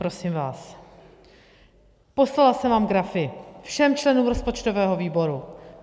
Prosím vás, poslala jsem vám grafy, všem členům rozpočtového výboru.